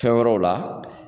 Fɛn wɛrɛw o la